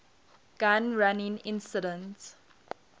gun running incident